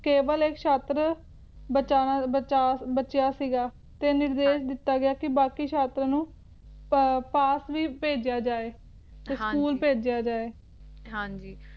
ਕੇਵਲ ਇੱਕ ਛਾਤਰ ਬਚਾ`ਬਚਾ`ਬਚਿਆ ਸੀਗਾ ਤੇ ਨਿਰਦੇਸ਼ ਕੀਤਾ ਸੀਗਾ ਕਿ ਬਾਕੀ ਛਾਤਰ ਨੂੰ ਪਾਸ ਵੀ ਭੇਜਿਆ ਜਾਏ ਤੇ ਸਕੂਲ ਭੇਜਿਆ ਜਾਏ ਹਾਂਜੀ